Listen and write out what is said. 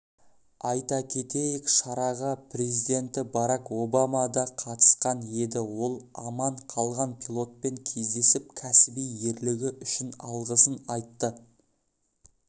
айта кетейік шараға президенті барак обама да қатысқан еді ол аман қалған пилотпен кездесіп кәсіби ерлігі үшін алғысын айтты